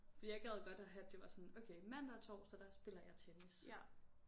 Fordi jeg gad godt at have det var sådan okay mandag og torsdag der spiller jeg tennis